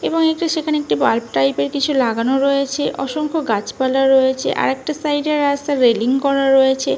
এবং একটি সেখানে একটি বালব টাইপের কিছু লাগানো রয়েছে। অসংখ্য গাছপালা রয়েছে আর একটা সাইডের রাস্তা রেলিং করা রয়েছে।